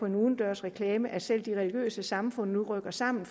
en udendørsreklame at selv de religiøse samfund rykker sammen